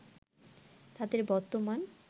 তাদের বর্তমান